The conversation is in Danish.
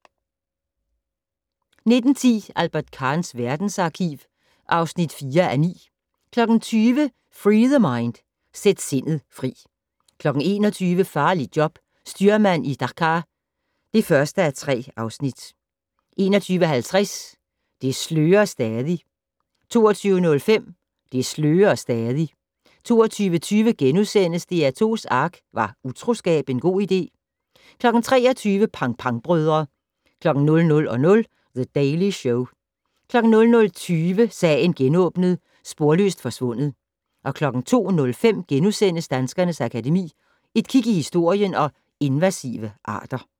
19:10: Albert Kahns verdensarkiv (4:9) 20:00: Free The Mind - Sæt sindet fri 21:00: Farligt job - styrmand i Dhaka (1:3) 21:50: Det slører stadig 22:05: Det slører stadig 22:20: DR2's ARK - Var utroskab en god idé? * 23:00: Pang Pang-brødre 00:00: The Daily Show 00:20: Sagen genåbnet: Sporløst forsvundet 02:05: Danskernes Akademi: Et kig i historien & Invasive arter *